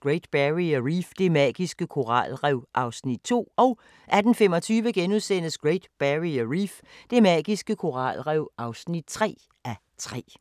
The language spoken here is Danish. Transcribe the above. Great Barrier Reef – det magiske koralrev (2:3)* 18:25: Great Barrier Reef – det magiske koralrev (3:3)*